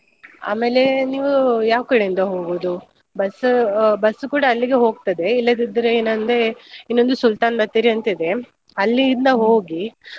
ಆಮೇಲೆ ನೀವು ಯಾವ್ ಕಡೆ ಇಂದ ಹೋಗೋದು? Bus ಆ bus ಕೂಡ ಅಲ್ಲಿಗೆ ಹೋಗ್ತದೆ. ಇಲ್ಲದಿದ್ರೆ ಏನ್ ಅಂದ್ರೆ ಇನ್ನೊಂದ್ Sultan Bathery lang:Fore ಅಂತ ಇದೆ ಅಲ್ಲಿಂದ ಹೋಗಿ.